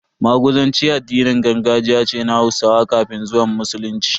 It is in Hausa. Maguzanci addinin gargajiya ce na Hausawa kafin zuwan Musulunci.